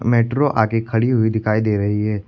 Metro आगे खड़ी हुई दिखाई दे रही है।